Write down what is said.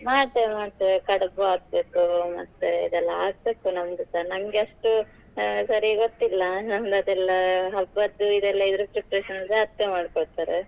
ಮಾಡ್ತೇವೆ ಮಾಡ್ತೇವೆ. ಕಡ್ಬು ಆಗ್ಬೇಕು, ಮತ್ತೆ ಇದೆಲ್ಲ ಆಗ್ಬೇಕು ನಮ್ದುಸಾ ನಂಗೆ ಅಷ್ಟು ಸರಿ ಗೊತ್ತಿಲ್ಲ. ನಮ್ದ್ ಅದೆಲ್ಲಾ ಹಬ್ಬದ್ದು ಇದೆಲ್ಲಾ ಇದ್ರ preparation ಸಾ ಅತ್ತೆ ಮಾಡ್ಕೊಳ್ತಾರೆ.